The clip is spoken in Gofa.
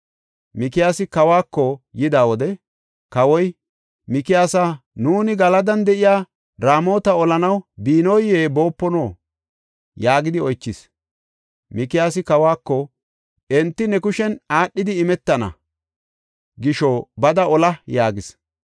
Mikiyaasi kawako yida wode kawoy, “Mikiyaasa nuuni Galadan de7iya Raamota olanaw biinoye boopino?” yaagidi oychis. Mikiyaasi kawako, “Enti ne kushen aadhidi imetana gisho bada ola” yaagis.